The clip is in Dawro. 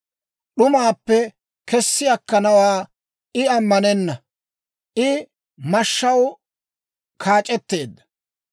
D'umaappe kessi akkanawaa I ammanenna; I mashshaw kaac'etteedda.